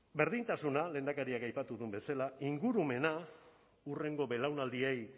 berdintasuna lehendakariak aipatu duen bezala ingurumena hurrengo belaunaldiei